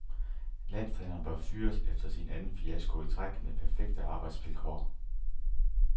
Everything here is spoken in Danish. Landstræneren bør fyres efter sin anden fiasko i træk med perfekte arbejdsvilkår.